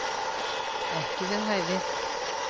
Ekki við hæfi